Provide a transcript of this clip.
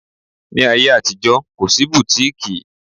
Ní ayé àtijó, kò sí bùtíkìì